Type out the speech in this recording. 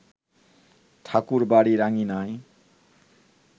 ঠাকুরবাড়ির আঙিনায়